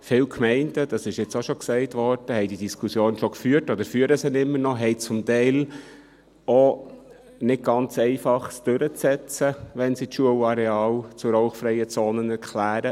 Viele Gemeinden – das wurde auch schon gesagt – haben diese Diskussion schon geführt oder führen sie immer noch, und haben es zum Teil auch nicht ganz einfach, das durchzusetzen, wenn sie die Schulareale zu rauchfreien Zonen erklären.